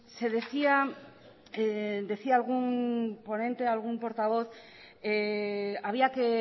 decía algún portavoz que había que